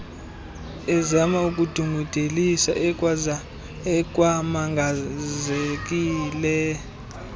ezama ukudungudelisa ekwamangazekile